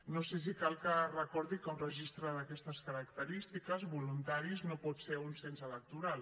no sé si cal que recordi que un registre d’aquestes característiques voluntari no pot ser un cens electoral